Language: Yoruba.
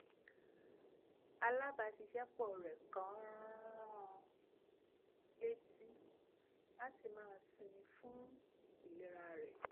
alábaṣiṣ́ẹpọ̀ rẹ̀ kan rán an létí láti máa sinmi fún ìlera rẹ̀